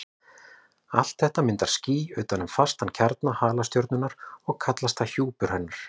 Allt þetta myndar ský utan um fastan kjarna halastjörnunnar og kallast það hjúpur hennar.